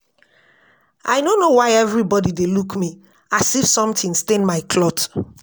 I no know why everybody dey look me as me as if something stain my cloth